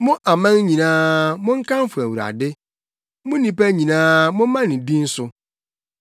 Mo aman nyinaa, monkamfo Awurade; mo nnipa nyinaa, momma ne din so.